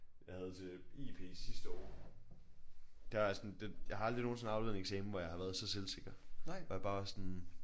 Jeg havde til IP sidste år der sådan den jeg har aldrig nogensinde afleveret en eksamen hvor jeg har været så selvsikker hvor jeg bare var sådan